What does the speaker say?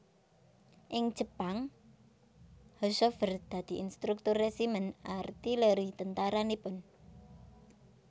Ing Jepang Haushofer dadi instruktur resimen artileri tentara Nippon